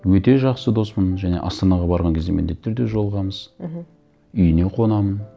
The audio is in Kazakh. өте жақсы доспын және астанаға барған кезде міндетті түрде жолығамыз мхм үйіне қонамын